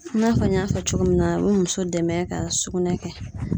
I n'a fɔ n y'a fɔ cogo min na a bɛ muso dɛmɛ ka sugunɛ kɛ.